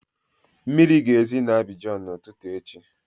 Mmiri ga-ezi na Abịjan na ụtụtụ echi